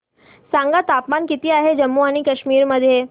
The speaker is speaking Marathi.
सांगा तापमान किती आहे जम्मू आणि कश्मीर मध्ये